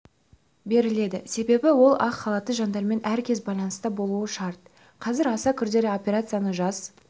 беріледі себебі ол ақ халатты жандармен әркез байланыста болуы шарт қазір аса күрделі операцияны жас